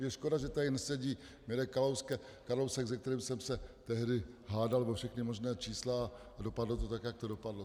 Je škoda, že tady nesedí Mirek Kalousek, se kterým jsem se tehdy hádal o všechna možná čísla, a dopadlo to tak, jak to dopadlo.